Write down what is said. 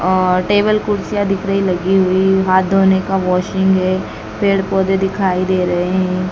और टेबल कुर्सियां दिख रही लग हुई हाथ धोने का वाशिंग है पेड़ पौधे दिखाई दे रहे है।